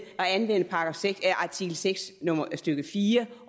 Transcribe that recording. at anvende artikel seks stykke fire